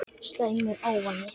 Slæmur ávani